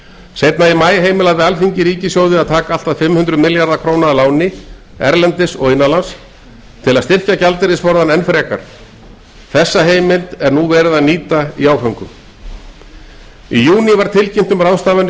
seinna í maí heimilaði alþingi ríkissjóði að taka allt að fimm hundruð milljarða króna að láni erlendis og innanlands til að styrkja gjaldeyrisforðann enn frekar þessa heimild er verið að nýta í áföngum í júní var tilkynnt um ráðstafanir